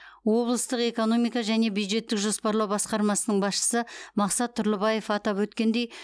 облыстық экономика және бюджеттік жоспарлау басқармасының басшысы мақсат тұрлыбаев атап өткендей